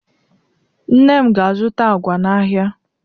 Nne m ga-azụta agwa n'ahịa.